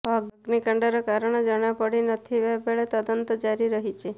ଅଗ୍ନିକାଣ୍ଡର କାରଣ ଜଣାପଡ଼ି ନଥିବା ବେଳେ ତଦନ୍ତ ଜାରି ରହିଛି